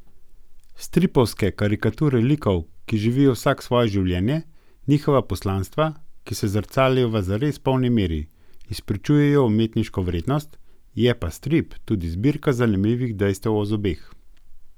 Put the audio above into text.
Stripovske karikature likov, ki živijo vsak svoje življenje, njihova poslanstva, ki se zrcalijo v zares polni meri, izpričujejo umetniško vrednost, je pa strip tudi zbirka zanimivih dejstev o zobeh.